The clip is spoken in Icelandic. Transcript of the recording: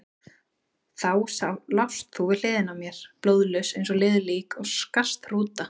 Þá lást þú við hliðina á mér, blóðlaus eins og liðið lík og skarst hrúta.